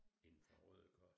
Inde fra Rødekors